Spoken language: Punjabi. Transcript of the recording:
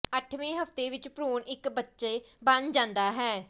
ਅੱਠਵੇਂ ਹਫ਼ਤੇ ਵਿੱਚ ਭ੍ਰੂਣ ਇੱਕ ਬੱਚੇ ਬਣ ਜਾਂਦਾ ਹੈ